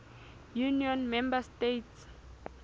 union member states